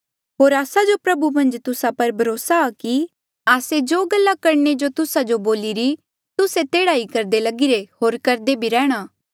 होर आस्सा जो प्रभु मन्झ तुस्सा पर भरोसा आ कि आस्से जो गल्ला करणे जो तुस्सा जो बोलिरी तुस्से तेह्ड़ा ही करदे लगिरे होर करदे भी रैंह्णां